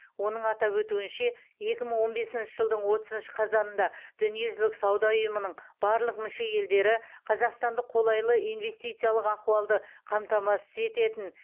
оның атап өтуінше екі мың он бесінші жылдың отызыншы қазанында дүниежүзілік сауда ұйымының барлық мүше елдері қазақстанды қолайлы инвестициялық ахуалды қамтамасыз ететін